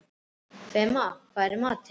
Fema, hvað er í matinn?